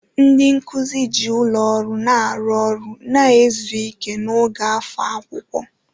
Ndị nkuzi ji ụlọ ọrụ na-arụ ọrụ na izu ike n'oge afọ akwụkwọ.